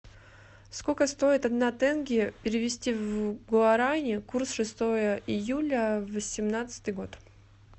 сколько стоит одна тенге перевести в гуарани курс шестое июля восемнадцатый год